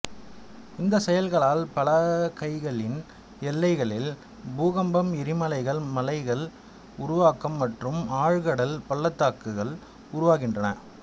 இந்த செயல்களால் பலகைகளின் எல்லைகளில் பூகம்பம் எரிமலைகள் மலைகள் உருவாக்கம் மற்றும் ஆழ் கடல் பள்ளத்தாக்குகள் உருவாகுகின்றன